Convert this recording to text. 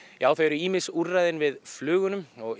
já þau eru ýmis úrræðin við flugunum og ég